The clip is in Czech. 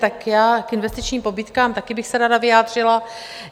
Tak já k investičním pobídkám také bych se ráda vyjádřila.